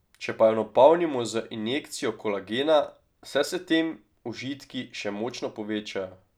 Če pa jo napolnimo z injekcijo kolagena, se s tem užitki še močno povečajo.